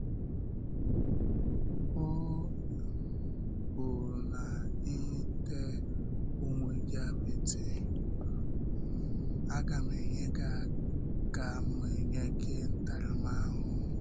Ọ̀ um bụrụ na ị̀ tee onwe gị apịtị, um aga m enye aga m enye gị ntàramahụhụ.”